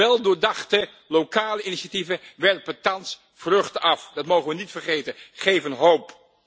Weldoordachte lokale initiatieven werpen thans vruchten af dat mogen we niet vergeten geven hoop.